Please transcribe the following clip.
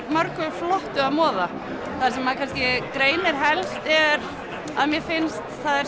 mörgu flottu að moða það sem maður greinir helst er að mér finnst